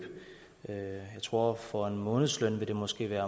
jeg tror at for en månedsløn vil det måske være